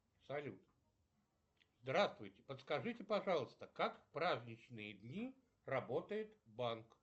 салют здравствуйте подскажите пожалуйста как в праздничные дни работает банк